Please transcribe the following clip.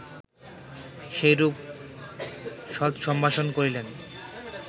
সেইরূপ সৎসম্ভাষণ করিলেন